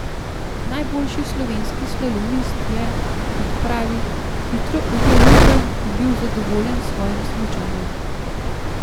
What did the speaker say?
Najboljši slovenski slalomist je, kot pravi, hitro ujel ritem in bil zadovoljen s svojim smučanjem.